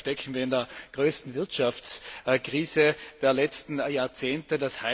Gleichzeitig stecken wir in der größten Wirtschaftskrise der letzten Jahrzehnte.